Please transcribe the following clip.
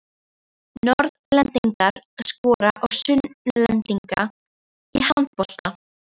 Norðlendingar skora á Sunnlendinga í handbolta.